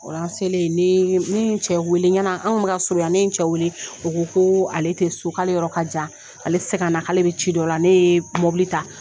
Ola selen ne ne ye n cɛ wele y'an an ola an kun be ka surun ne ye n cɛ o ko ko ale te so k'ale yɔrɔ kajan ale te se ka na ale be ci dɔ la ne ye mɔbili ta